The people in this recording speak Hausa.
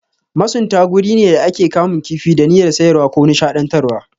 Masunta guri ne da ake kamun kifi da niyyyar sayarwa ko nishaɗantarwa.